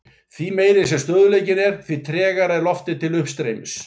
Því meiri sem stöðugleikinn er því tregara er loftið til uppstreymis.